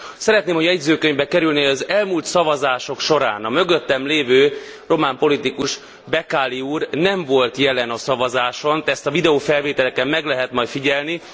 Szeretném, ha a jegyzőkönyvbe kerülne, hogy az elmúlt szavazások során a mögöttem lévő román politikus, Becali úr nem volt jelen a szavazáson, de ezt a videófelvételeken meg lehet majd figyelni.